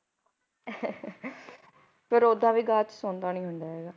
ਫਿਰ ਓਦਾਂ ਵੀ ਬਾਅਦ 'ਚ ਸੁਣਦਾ ਨੀ ਹੁੰਦਾ ਹੈਗਾ,